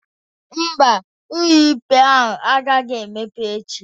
Ḿbà, ụlọikpe ahụ agaghị emepe echi